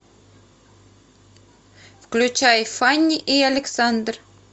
включай фанни и александр